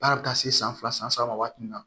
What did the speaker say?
Baara bɛ taa se san fila san saba ma waati min na